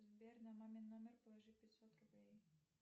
сбер на мамин номер положи пятьсот рублей